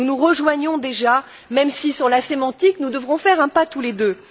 Nous nous rejoignons déjà, même si, sur le plan sémantique, nous devrons faire un pas tous les deux.